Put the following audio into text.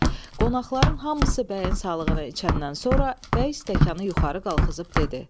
Qonaqların hamısı bəyin sağlığına içəndən sonra bəy stəkanı yuxarı qaldırıb dedi.